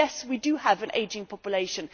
Yes, we do have an ageing population